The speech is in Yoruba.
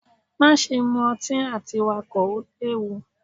Maṣe mu ati Wakọ! o lewu.